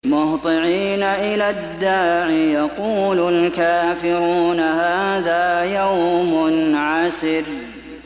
مُّهْطِعِينَ إِلَى الدَّاعِ ۖ يَقُولُ الْكَافِرُونَ هَٰذَا يَوْمٌ عَسِرٌ